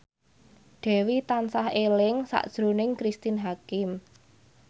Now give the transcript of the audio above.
Dewi tansah eling sakjroning Cristine Hakim